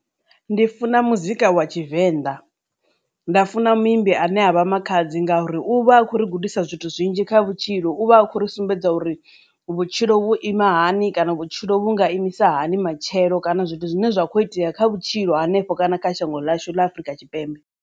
Ndi funa muzika wa tshivenḓa nda funa muimbi ane avha Makhadzi ngauri u vha khou ri gudisa zwithu zwinzhi kha vhutshilo u vha a khou ri sumbedza uri vhutshilo vhu ima hani kana vhutshilo vhu nga imisa hani matshelo kana zwithu zwine zwa kho itea kha vhutshilo hanefho kana kha shango ḽashu ḽa Afurika Tshipembe.